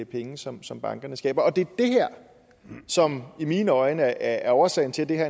penge som som bankerne skaber og det er det her som i mine øjne er årsagen til at det her